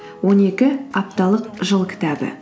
он екі апталық жыл кітабы